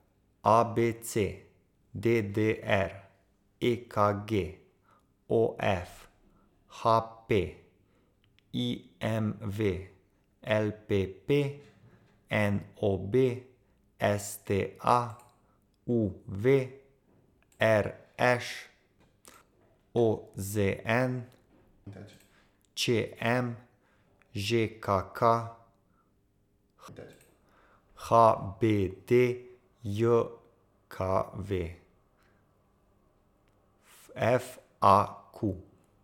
A B C; D D R; E K G; O F; H P; I M V; L P P; N O B; S T A; U V; R Š; O Z N; Č M; Ž K K; H B D J K V; F A Q.